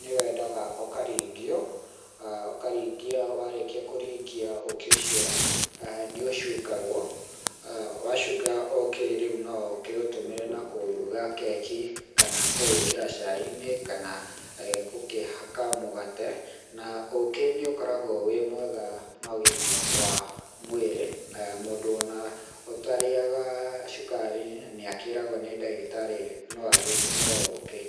nĩ wendagwo ũkaringio aah ũkaringia warĩkia kũringia ũkĩ ũcio aah nĩ ũcungagwo wacunga ũkĩ rĩu no ũkĩ ũtũmĩre na kũruga keki kana kũwĩkĩra chai-inĩ kana eeh gũkĩhaka mũgate na ũkĩ nĩ ũkoragwo wĩ mwega na ũgima wa mwĩrĩ, mũndũ ona ũtarĩaga cukari nĩ akĩragwo nĩ ndagĩtarĩ no agĩtũmĩre ũkĩ.